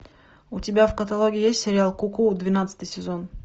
у тебя в каталоге есть сериал ку ку двенадцатый сезон